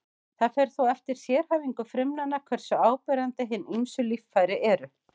Það fer þó eftir sérhæfingu frumnanna hversu áberandi hin ýmsu líffæri eru.